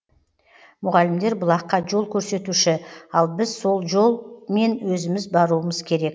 мұғалімдер бұлаққа жол көрсетуші ал біз сол жол мен өзіміз баруымыз керек